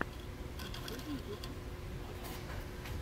последний выпуск арбуза тв